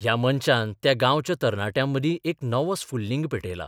ह्या मंचान त्या गांवच्या तरणाट्यांमदीं एक नवो स्फुल्लिंग पेटयला.